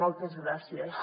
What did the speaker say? moltes gràcies